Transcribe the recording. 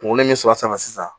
Kunkolo min sɔrɔ a sanfɛ sisan